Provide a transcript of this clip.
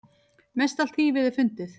Mestallt þýfið er fundið.